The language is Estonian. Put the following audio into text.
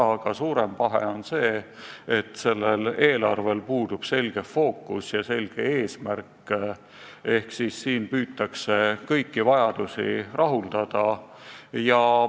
Aga suurem pahe on see, et eelarvel puudub selge fookus ja selge eesmärk, püütakse kõiki vajadusi rahuldada.